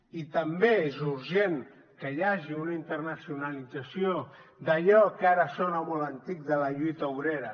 i també és urgent que hi hagi una internacionalització d’allò que ara sona molt antic de la lluita obrera